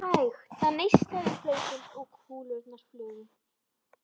Það neistaði um hlaupin og kúlurnar flugu.